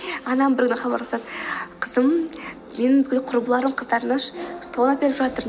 анам бір күні хабарласады қызым менің бүкіл құрбыларым қыздарына тон әперіп жатыр